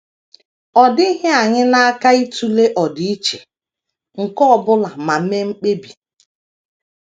Ọ dịghị anyị n’aka ịtụle ọdịiche nke ọ bụla ma mee mkpebi.